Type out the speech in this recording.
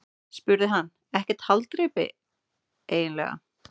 spurði hann: Ekkert haldreipi eiginlega.